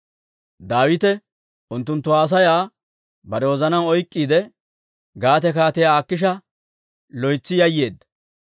Daawite unttunttu haasayaa bare wozanaan oyk'k'iide, Gaate Kaatiyaa Akiisha loytsi yayyeedda.